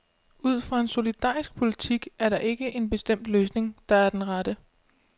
Ud fra en solidarisk politik er der ikke en bestemt løsning, der er den rette.